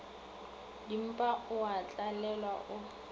dimpa o a tlalelwa o